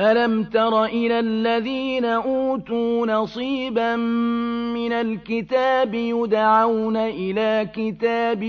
أَلَمْ تَرَ إِلَى الَّذِينَ أُوتُوا نَصِيبًا مِّنَ الْكِتَابِ يُدْعَوْنَ إِلَىٰ كِتَابِ